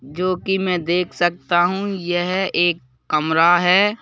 जो कि मैं देख सकता हूँ यह एक कमरा है।